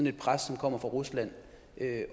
et pres der kommer fra rusland